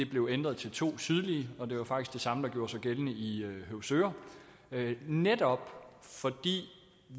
blev ændret til to sydlige det var faktisk det samme der gjorde sig gældende i høvsøre det netop fordi